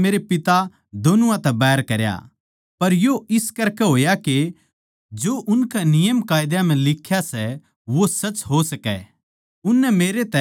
पर यो इस करकै होया के जो उनकै नियमकायदा म्ह लिख्या सै वो सच हो सकै उननै मेरै तै खामखां बैर करया